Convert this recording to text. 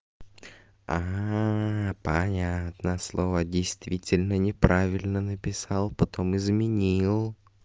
аа понятно слово действительно неправильно написал потом изменил